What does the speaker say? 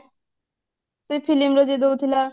ସେ film ର ଯିଏ ଦଉଥିଲା